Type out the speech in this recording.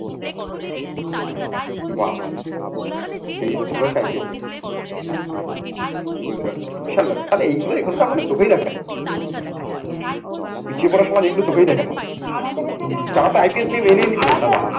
বা এই বছর হয় সাইকেলটা কি গুজরাট থেকে বিশাল ব্যাপার তাহলে এইগুলো এখানকার মানুষ চোখেই দেখে না। পিছিয়ে পড়া সমাজ এগুলো চোখেই দেখে না।